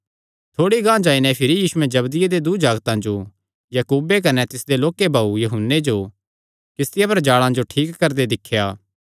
थोड़ी गांह जाई नैं भिरी यीशुयैं जबदिये दे दूँ जागतां जो याकूबे कने तिसदे लोक्के भाऊये यूहन्ने जो किस्तिया पर जाल़ां जो ठीक करदे दिख्या